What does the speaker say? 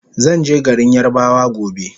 Zanje garin yarabawa gobe